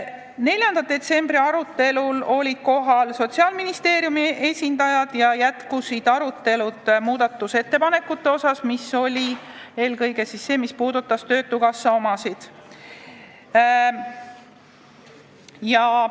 4. detsembri arutelul olid kohal Sotsiaalministeeriumi esindajad ja jätkus nende muudatusettepanekute arutelu, mis eelkõige puudutavad töötukassat.